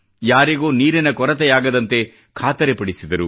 ಯಾರಿಗೂ ನೀರಿನ ಕೊರತೆಯಾಗದಂತೆ ಖಾತರಿ ಪಡಿಸಿದರು